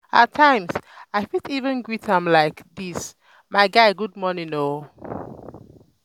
um at um times i fit even greet am like dis um "my guy good morning o"